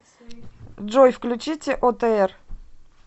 джой включите отр